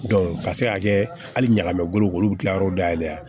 ka se ka kɛ hali ɲagami ko olu bɛ kila yɔrɔ dayɛlɛ a